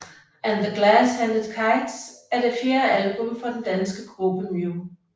And The Glass Handed Kites er det fjerde album fra den danske gruppe Mew